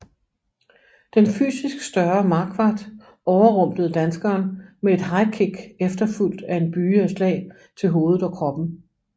Den fysisk større Marquardt overrumplede danskeren med et highkick efterfulgt af en byge af slag til hovedet og kroppen